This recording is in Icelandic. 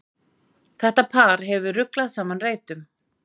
Þetta par hefur ruglað saman reytum.